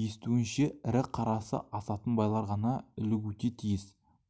естуінше ірі қарасы асатын байлар ғана ілігуте тиіс